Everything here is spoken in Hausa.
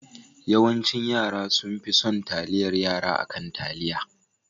Yawancin yara sonfi son taliyar Yara akan taliya.